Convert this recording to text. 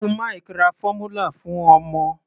Uncle Mike ra fọ́múlà fún ọmọ.